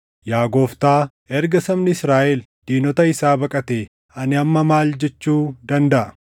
Yaa Gooftaa, erga sabni Israaʼel diinota isaa baqatee ani amma maal jechuu dandaʼa?